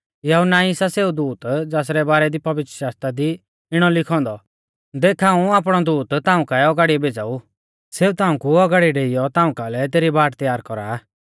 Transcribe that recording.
यहुन्ना ई सा सेऊ दूत ज़ासरै बारै दी पवित्रशास्त्रा दी इणौ लिखौ औन्दौ कि देख हाऊं आपणौ दूत ताऊं कु औगाड़िऐ भेज़ाऊ सेऊ ताऊं कु औगाड़िऐ डेइयौ ताऊं कालै तेरी बाट तैयार कौरा